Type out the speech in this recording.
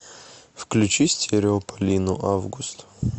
включи стереополину август